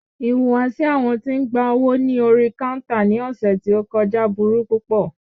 Ìhùwàsí àwọn tí ń gba owó ní orí káúntà ní ọ̀sẹ̀ tí o kọjá burú púpọ̀.